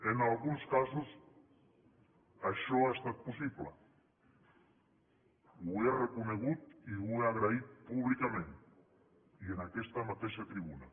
en alguns casos això ha estat possible ho he reconegut i ho he agraït públicament i en aquesta mateixa tribuna